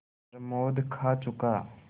प्रमोद खा चुका